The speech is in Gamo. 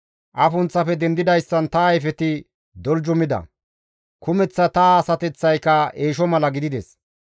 Afunththafe dendidayssan ta ayfeti doljumida; kumeththa ta asateththayka eesho mala gidides.